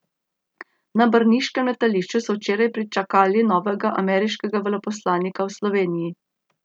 Na brniškem letališču so včeraj pričakali novega ameriškega veleposlanika v Sloveniji.